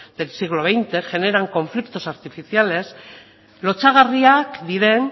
del siglo veinte generan conflictos artificiales lotsagarriak diren